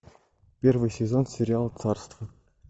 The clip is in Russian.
первый сезон сериал царство